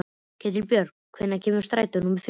Ketilbjörn, hvenær kemur strætó númer fimmtíu?